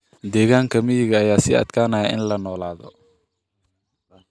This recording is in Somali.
Deegaanka miyiga ayaa sii adkaanaya in la noolaado.